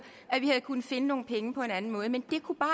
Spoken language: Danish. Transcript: at vi havde kunnet finde nogle penge på en anden måde men det kunne bare